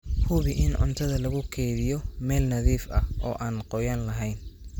Hubi in cuntada lagu kaydiyo meel nadiif ah oo aan qoyaan lahayn.